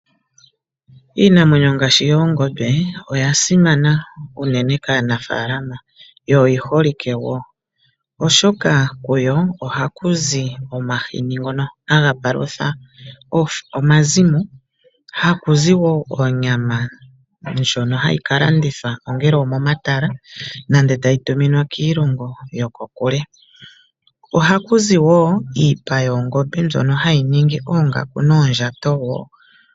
Iinamwenyo ngaashi oongombe oya simana unene kaanafaalama yo oyi holike wo, oshoka kuyo ohaku zi omahini ngono haga palutha omazimo, haku zi wo onyama ndjono hayi ka landithwa ongele omomatala nenge tayi tuminwa kiilongo yokokule. Ohaku zi wo iipa mbyono hayi ningi oongaku noondjato wo.